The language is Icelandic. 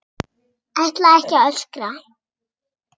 Ætla ekki að öskra.